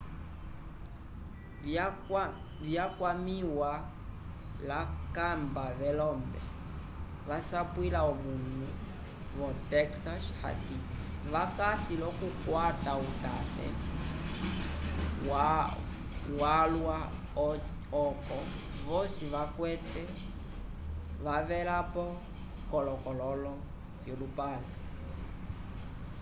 vyakwamĩwa l'akakamba velombe vasapwila omanu vo-texas hati vakasi l'okukwata utate walwa oco vosi vakwate wavelapo k'akololo v'olupale